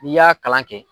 N'i y'a kalan kɛ